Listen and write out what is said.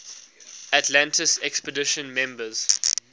atlantis expedition members